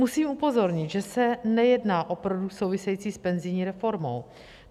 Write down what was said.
Musím upozornit, že se nejedná o produkt související s penzijní reformou.